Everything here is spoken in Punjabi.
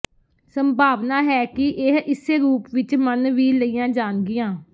ਸੰਭਾਵਨਾ ਹੈ ਕਿ ਇਹ ਇਸੇ ਰੂਪ ਵਿਚ ਮੰਨ ਵੀ ਲਈਆਂ ਜਾਣਗੀਆਂ